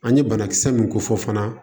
An ye banakisɛ mun ko fɔ fana